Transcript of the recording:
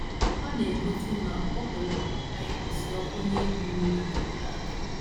Ha na - egosi na o kwere omume ịkwụsị ọbụna ibu iro dịteworo aka.